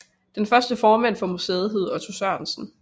Den første formand for museet hed Otto Sørensen